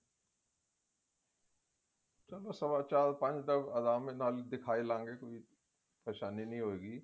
ਚਲੋ ਸਵਾ ਚਾਰ ਪੰਜ ਦਾ ਅਰਮਾ ਨਾਲ ਦਿਖਾ ਹੀ ਲਵਾਂਗੇ ਕੋਈ ਪਰੇਸ਼ਾਨੀ ਨੀ ਹੋਇਗੀ